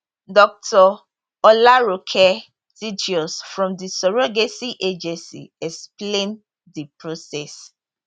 dr olaronke thaddeus from di surrogacy agency explain di process